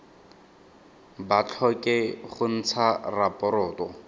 ba tlhoke go ntsha raporoto